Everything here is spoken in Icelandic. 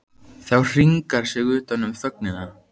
Það hringar sig utan um þögnina.